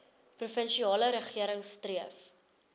provinsiale regering streef